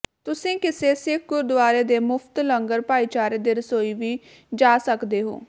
ਤੁਸੀਂ ਕਿਸੇ ਸਿੱਖ ਗੁਰਦੁਆਰੇ ਦੇ ਮੁਫਤ ਲੰਗਰ ਭਾਈਚਾਰੇ ਦੇ ਰਸੋਈ ਵੀ ਜਾ ਸਕਦੇ ਹੋ